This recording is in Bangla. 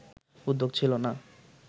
উদ্যোগ ছিল না